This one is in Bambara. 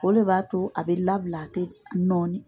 O le b'a to a bɛ labila a tɛ nɔɔni.